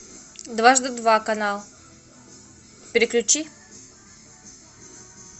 дважды два канал переключи